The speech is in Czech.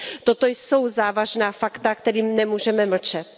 Toto jsou závažná fakta, ke kterým nemůžeme mlčet.